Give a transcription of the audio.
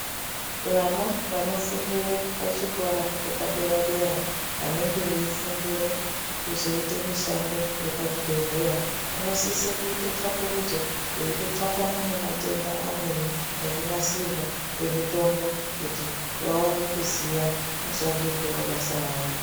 Vana vanofundire pachikoro chepadera-dera, vanenge veifundire kuzoite mishando yepachibhedhela, vanosise kuite tsvakurudzo veitotsvakana nematenda amweni nekunasirwa kwemitombo kuti vaone kuziya mushandirwo webasa ravo.